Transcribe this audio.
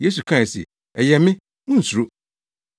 Yesu kae se, “Ɛyɛ me, Munnsuro!”